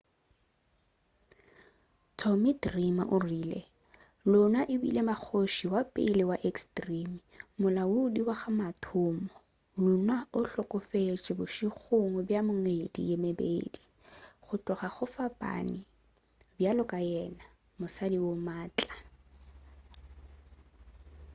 tommy dreamer o rile luna e bile mmakgoši wa pele wa extreme molaodi wa ka wa mathomo luna o hlokofetše bošegong bja mengwedi ye mebedi go tloga go fapane bjalo ka yena mosadi wo maatla